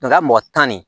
Nka mɔgɔ tan ni